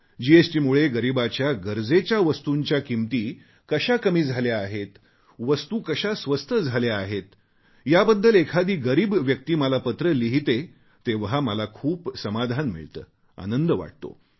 जीएसटीमुळे गरीबाच्या गरजेच्या वस्तूंच्या किंमती कशा कमी झाल्या आहेत वस्तू कशा स्वस्त झाल्या आहेत याबद्दल एखादी गरीब व्यक्ती मला पत्र लिहिते तेव्हा मला खूप समाधान मिळते आनंद वाटतो